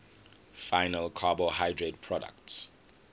final carbohydrate products